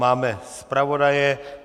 Máme zpravodaje.